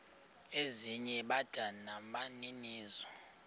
ezinye bada nabaninizo